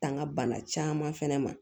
Tanga bana caman fɛnɛ ma